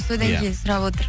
содан кейін сұрап отыр